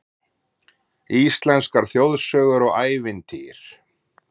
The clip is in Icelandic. Íslenskar þjóðsögur og ævintýr